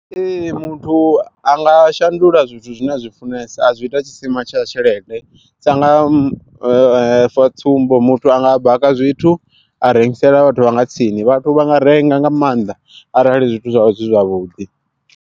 Ee muthu a nga shandula zwithu zwine a zwi funesa a zwi ita tshisima tsha tshelede, sa nga sa tsumbo muthu anga baka zwithu a rengisela vhathu vha nga tsini vhathu vha nga renga nga maanḓa arali zwithu zwavho zwi zwavhuḓi.